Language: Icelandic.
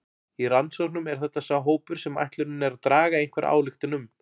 Í rannsóknum er þetta sá hópur sem ætlunin er að draga einhverja ályktun um.